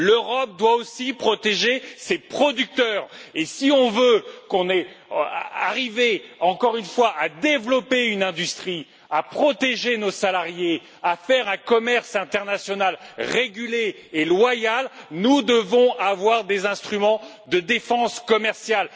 L'Europe doit aussi protéger ses producteurs et si on veut arriver, encore une fois, à développer une industrie, à protéger nos salariés, à faire un commerce international régulé et loyal, nous devons avoir des instruments de défense commerciale.